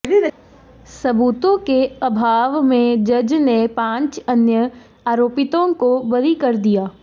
सबूतों के अभाव में जज ने पांच अन्य आरोपितों को बरी कर दिया